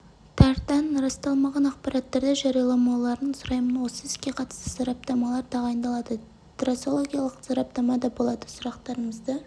тардан расталмаған ақпараттарды жарияламауларын сұраймын осы іске қатысты сараптамалар тағайындалады трасологиялық сараптама да болады сұрақтарымызды